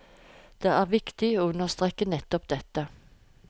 Det er viktig å understreke nettopp dette.